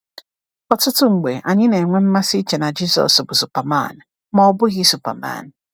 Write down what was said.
Ọtụtụ mgbe anyị na-enwe mmasị iche na Jisọs bụ Superman, ma Ọ bụghị Superman.